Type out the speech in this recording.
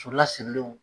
So lasirilenw